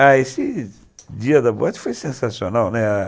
Ah, esse dia da boate foi sensacional, né? a